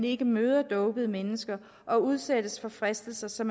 ikke møder dopede mennesker og udsættes for fristelser som